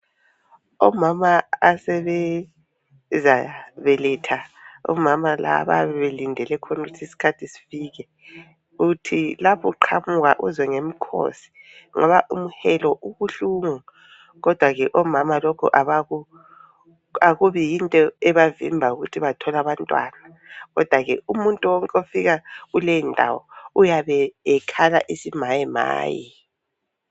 Omama asebezabeletha. Omama laba bayabe belindele khonukuthi isikhathi sifike uthi laphu qhamuka uzwe ngemikhosi ngoba umhelo ubuhlungu kodwa ke omama lokho abaku akubi yinto ebavimbayo ukuthi batholabantwana kodwa ke umuntu wonke ofika kuleyondawo uyabe ekhala isimayemaye.